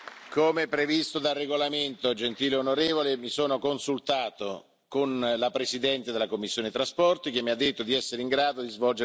Come previsto dal regolamento, gentile onorevole, mi sono consultato con la presidente della commissione TRAN, che mi ha detto di essere in grado di svolgere questa attività.